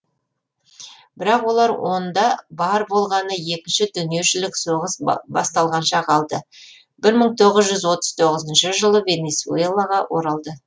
бірақ олар онда бар болғаны екінші дүниежүзілік соғыс басталғанша қалды бір мың тоғыз жүз отыз тоғызыншы жылы венесуэлаға оралды